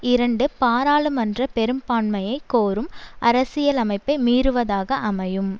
இரண்டு பாராளுமன்ற பெரும்பான்மையை கோரும் அரசியலமைப்பை மீறுவதாக அமையும்